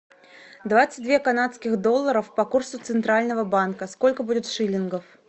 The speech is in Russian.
двадцать две канадских долларов по курсу центрального банка сколько будет шиллингов